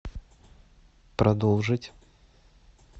продолжить